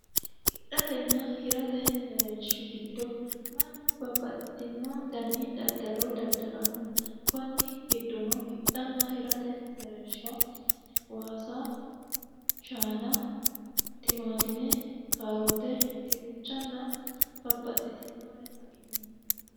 Hidhatena hirate mereerishi giddo mannu babbaxino coyii daddalanni konni giddono shaana, tumaatume, waasa, shaana, kaarote, dinnichanna babbaxitinore afi'nanni.